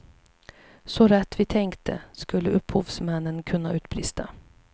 Så rätt vi tänkte, skulle upphovsmännen kunna utbrista.